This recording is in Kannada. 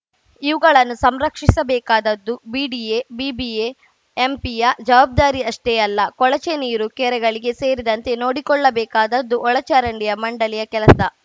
ಇವುಗಳನ್ನು ಸಂರಕ್ಷಿಸಬೇಕಾದ್ದು ಬಿಡಿಎ ಬಿಬಿಎ ಎಂಪಿಯ ಜವಾಬ್ದಾರಿಯಷ್ಟೇ ಅಲ್ಲ ಕೊಳಚೆ ನೀರು ಕೆರೆಗಳಿಗೆ ಸೇರದಂತೆ ನೋಡಿಕೊಳ್ಳಬೇಕಾದ್ದು ಒಳಚರಂಡಿ ಮಂಡಳಿಯ ಕೆಲಸ